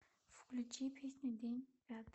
включи песня день пятый